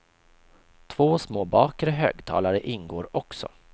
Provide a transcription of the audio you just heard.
Två små bakre högtalare ingår också.